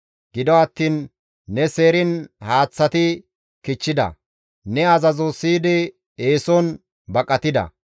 Gido attiin ne seeriin haaththati kichchida; ne azazo siyidi eeson baqatida.